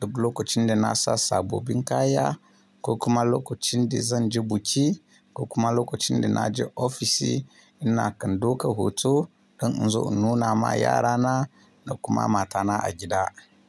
duk lokacin da na sa sabobin kaya ko kuma lokacin da zan je buki ko kuma lokacin da na je ofisi. Ina kan dauka hoto don in zo in nuna ma yarana da kuma matana a gida.